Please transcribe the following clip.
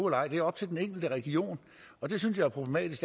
ej det er op til den enkelte region og det synes jeg er problematisk